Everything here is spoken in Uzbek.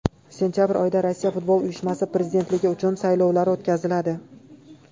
Sentabr oyida Rossiya Futbol Uyushmasi prezidentligi uchun saylovlar o‘tkaziladi.